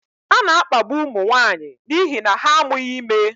A na-akpagbu ụmụ nwanyị n'ihi na ha amụghị ime.